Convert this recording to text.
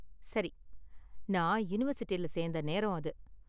சரி, நான் யுனிவர்சிட்டில சேந்த நேரம் அது.